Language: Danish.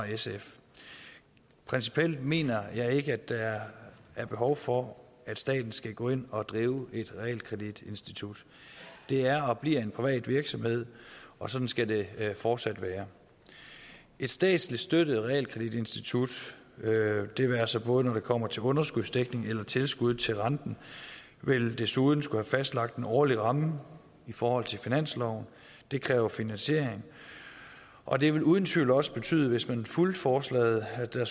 sf principielt mener jeg ikke at der er behov for at staten skal gå ind og drive et realkreditinstitut det er og bliver en privat virksomhed og sådan skal det fortsat være et statsligt støttet realkreditinstitut det være sig både når det kommer til underskudsdækning og tilskud til renten vil desuden skulle have fastlagt en årlig ramme i forhold til finansloven og det kræver finansiering og det vil uden tvivl også betyde hvis man fulgte forslaget at der